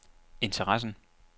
interessen